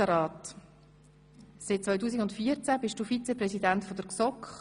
Seit 2014 bist du Vizepräsident der GSoK.